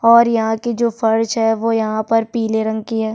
और यहाँ की जो फरच है वो यहाँ पर पिले रंग की है।